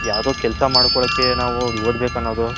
ಯಾವ್ದೊ ಕೆಲಸ ಮಡ್ಕೊಲ್ಲಕೆ ನಾವು ಓದಬೇಕು ಅನ್ನೋದು .